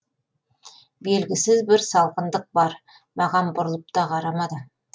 белгісіз бір салқындық бар маған бұрылып та қарамады